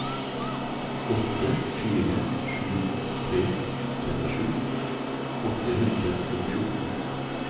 åtte fire sju tre trettisju åtte hundre og fjorten